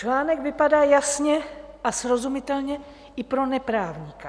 Článek vypadá jasně a srozumitelně i pro neprávníka.